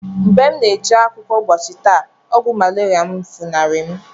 Mgbe mụ na-eje akwụkwọ ụbọchi tata, ogwu malaria mụ funari mu.